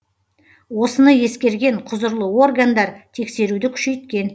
осыны ескерген құзырлы органдар тексеруді күшейткен